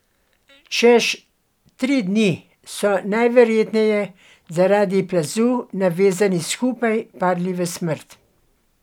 Čez tri dni so najverjetneje zaradi plazu navezani skupaj padli v smrt.